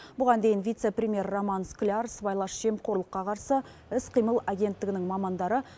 бұған дейін вице премьер роман скляр сыбайлас жемқорлыққа қарсы іс қимыл агенттігінің мамандары